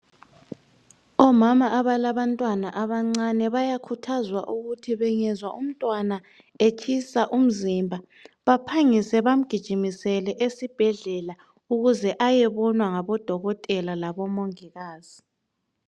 Omama abalabantwana abancane bayakhuzwa ukuthi bengezwa umntwana etshisa umzimba baphangise bamgijimisele esibhedlela ukuze ayobonwa ngabodokotela labo mongikazi